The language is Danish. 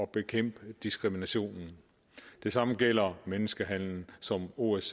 bekæmpe diskriminationen det samme gælder menneskehandel som osce